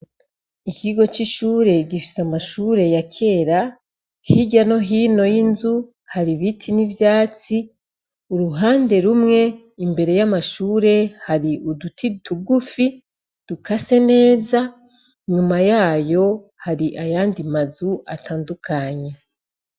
Ikigo cy'ishure gifise amashure ya kera. Hirya no hino y'inzu hari ibiti n'ivyatsi. Uruhande rumwe imbere y'amashure hari uduti dugufi dukase neza . Inyuma yayo hari ayandi mazu atandukanye.